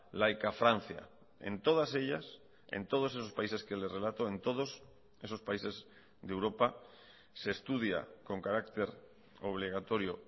laica francia en todas ellas en todos esos países que les relato en todos esos países de europa se estudia con carácter obligatorio